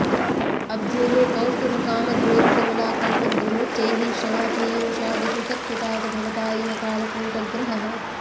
अब्धेः कौस्तुभकामधेनुकमलाकल्पद्रुमोच्चैःश्रवः पीयूषादिषु सत्सु तात भवता यः कालकूटग्रहः